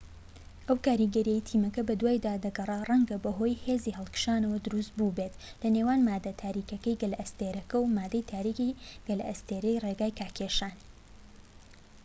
ئەو کاریگەرییەی تیمەکە بەدوایدا دەگەڕا ڕەنگە بەهۆی هێزی هەڵکشانەوە دروست بوو بێت لە نێوان ماددە تاریکەکەی گەلەستێرەکە و ماددەی تاریکی گەلەستێرەی ڕێگای کاکێشان